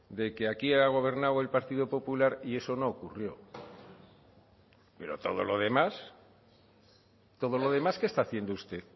de que aquí ha gobernado el partido popular y eso no ocurrió pero todo lo demás todo lo demás qué está haciendo usted